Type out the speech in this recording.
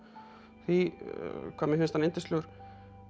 því hvað mér finnst hann yndislegur